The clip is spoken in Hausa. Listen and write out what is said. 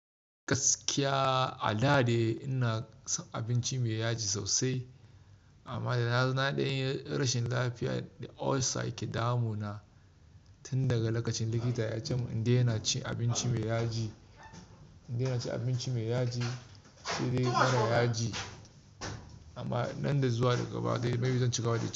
Gaskiya a da dai ina son abinci me yaji sosai amma dana zo na ɗan yi rashin lafiya da ulcer ke damu na tun daga lokacin likita ya ce min in daina cin abinci me yaji, in daina cin abinci me yaji sai dai mara yaji. Amma nan da zuwa gaba dai maybe zan cigaba da ci.